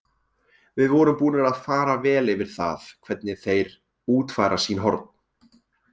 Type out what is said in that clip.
Við vorum búnir að fara vel yfir það, hvernig þeir útfæra sín horn.